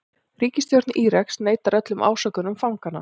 Ríkisstjórn Íraks neitar öllum ásökunum fanganna